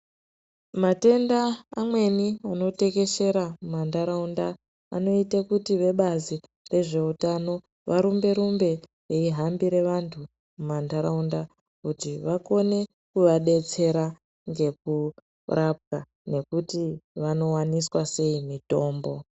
Matenda amweni anotekeshera mumantaraunda, anoite kuti vebazi rezveutano, varumbe-rumbe veihambire vantu mumantaraunda ,kuti vakone kuvadetsera ngekurapwa nekuti vanowaniswa sei mitombo.